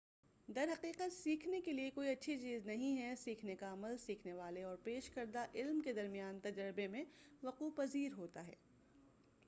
در حقیقت سیکھنے کے لئے کوئی اچھی چیز نہیں ہے سیکھنے کا عمل سیکھنے والے اور پیش کردہ علم کے درمیان تجربے میں وقوع پذیر ہوتا ہے